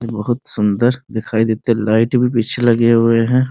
बहुत सुन्दर दिखाई देते लाइट भी पीछे लगे हुए हैं |